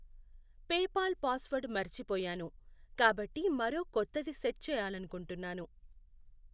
PayPal password మర్చిపోయాను, కాబట్టి మరో కొత్తది సెట్ చేయాలనుకుంటున్నాను